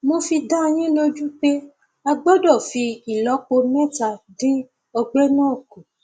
mo fi dá yín lójú pé a gbọdọ fi ìlọpo mẹta dín ọgbẹ náà kù